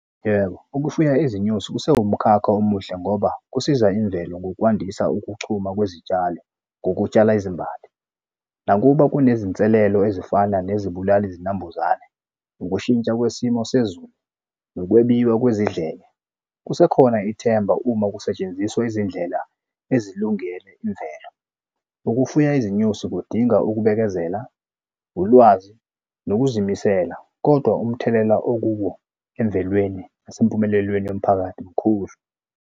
Yebo, ukufuya izinyosi kusewumkhakha omuhle ngoba kusiza imvelo ngokwandisa ukuchuma kwezitshalo ngokutshala izimbali. Nakuba kunezinselelo ezifana nezibulali zinambuzane, ukushintsha kwesimo sezulu, nokwebiwa kwezidleke, kusekhona ithemba uma kusetshenziswa izindlela ezilungele imvelo. Ukufuya izinyosi kudinga ukubekezela, ulwazi, nokuzimisela, kodwa umthelela okuwo emvelweni nasempumelelweni yomphakathi mkhulu.